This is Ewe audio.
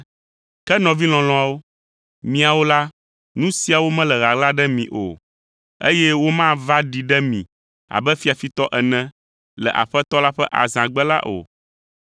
Ke nɔvi lɔlɔ̃awo, miawo la, nu siawo mele ɣaɣla ɖe mi o, eye womava ɖi ɖe mi abe fiafitɔ ene, le Aƒetɔ la ƒe azãgbe la o.